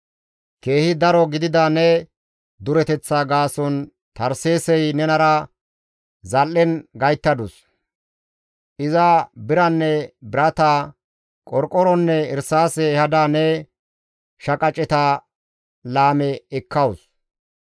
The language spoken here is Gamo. «Keehi daro gidida ne dureteththa gaason Tarseesey nenara zal7en gayttadus; iza biranne birata, qorqoronne irsaase ehada ne shaqaceta laame ekkawus.